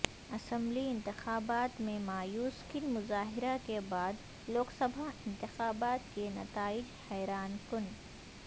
assembly انتخابات میں مایوس کن مظاہرہ کے بعد لوک سبھا انتخابات کے نتائج حیران کن